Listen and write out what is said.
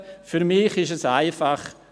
Für mich ist es jedoch einfach: